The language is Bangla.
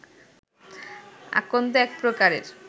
আকন্দ এক প্রকারের